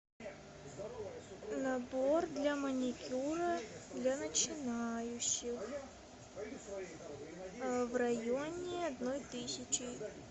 набор для маникюра для начинающих в районе одной тысячи